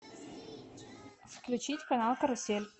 включить канал карусель